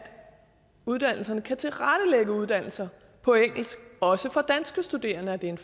uddannelserne kan tilrettelægge uddannelser på engelsk og også for danske studerende er det en